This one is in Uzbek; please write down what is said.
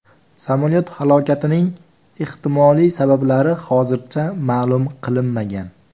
Samolyot halokatining ehtimoliy sabablari hozircha ma’lum qilinmagan.